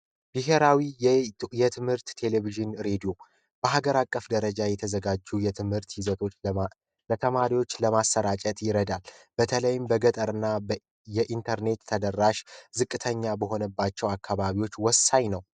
ብሄራዊ የትምህርት ቴሌቪዥን ሬዲዮ በሀገር አቀፍ ደረጃ የተዘጋጁ የትምህርት ይዘቶች ለተማሪዎች ለማሰራጨት ይረዳል። በተለይም በገጠርና የኢንተርኔት ተደራሽ ዝቅተኛ በሆነባቸው አካባቢዎች ወሳኝ ነው